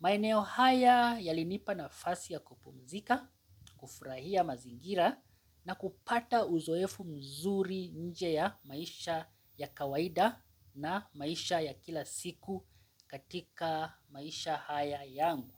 Maeneo haya yalinipa nafasi ya kupumzika, kufurahia mazingira na kupata uzoefu mzuri nje ya maisha ya kawaida na maisha ya kila siku katika maisha haya yangu.